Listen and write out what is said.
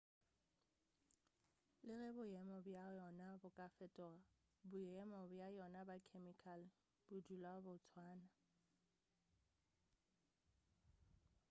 le ge boemo bja yona bo ka fetoga boemo bja yona bja khemikale bo dula bo tswana